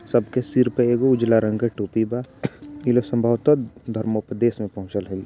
सबके सिर पर एगो उजला रंग के टोपी बा ई लोग संभवतः धर्म उपदेश मे पहुंचल होई।